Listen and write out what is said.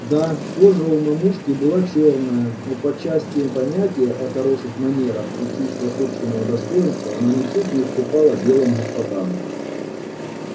да кожа у мамушки была чёрная но по части понятия о хороших манерах и чувства собственного достоинства она ничуть не уступала белым господам